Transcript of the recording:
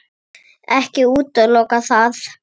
Ekki útiloka það.